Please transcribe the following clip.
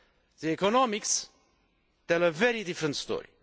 The economics tell a very different story.